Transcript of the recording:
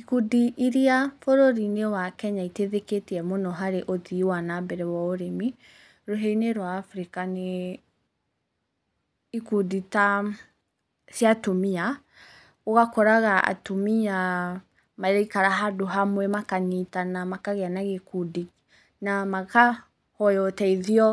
Ikundi iria bũrũri-inĩ wa Kenya iteithĩkĩtie mũno harĩ ũthii wa na mbere wa ũrĩmi, rũhĩa-inĩ rwa Africa nĩ ikundi ta cia atumia, ũgakoraga atumia maraikara handũ hamwe makanyitana makagĩa na gĩkundi na makahoya ũteithio